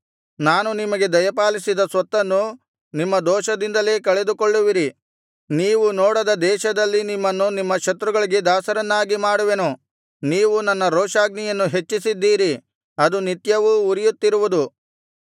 ನಾನು ನಿಮಗೆ ದಯಪಾಲಿಸಿದ ಸ್ವತ್ತನ್ನು ನಿಮ್ಮ ದೋಷದಿಂದಲೇ ಕಳೆದುಕೊಳ್ಳುವಿರಿ ನೀವು ನೋಡದ ದೇಶದಲ್ಲಿ ನಿಮ್ಮನ್ನು ನಿಮ್ಮ ಶತ್ರುಗಳಿಗೆ ದಾಸರನ್ನಾಗಿ ಮಾಡುವೆನು ನೀವು ನನ್ನ ರೋಷಾಗ್ನಿಯನ್ನು ಹೆಚ್ಚಿಸಿದ್ದೀರಿ ಅದು ನಿತ್ಯವೂ ಉರಿಯುತ್ತಿರುವುದು